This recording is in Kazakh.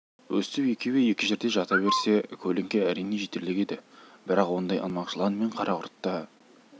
өстіп екеуі екі жерде жата берсе көлеңке әрине жетерлік еді бірақ ондай ынтымақ жылан мен карақұртта